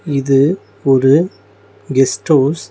இது ஒரு guest house .